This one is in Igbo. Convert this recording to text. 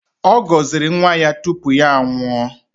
Ọ gọziri nwa ya tupu ya anwụọ